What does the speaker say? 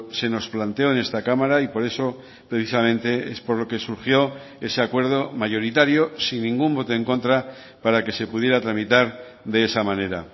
se nos planteó en esta cámara y por eso precisamente es por lo que surgió ese acuerdo mayoritario sin ningún voto en contra para que se pudiera tramitar de esa manera